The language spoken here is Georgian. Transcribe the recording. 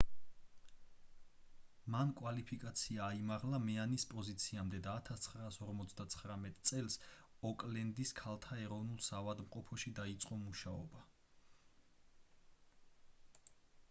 მან კვალიფიკაცია აიმაღლა მეანის პოზიციამდე და 1959 წელს ოკლენდის ქალთა ეროვნულ საავადმყოფოში დაიწყო მუშაობა